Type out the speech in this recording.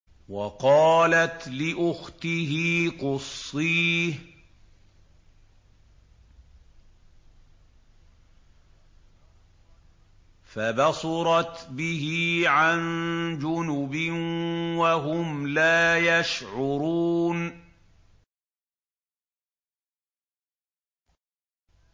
وَقَالَتْ لِأُخْتِهِ قُصِّيهِ ۖ فَبَصُرَتْ بِهِ عَن جُنُبٍ وَهُمْ لَا يَشْعُرُونَ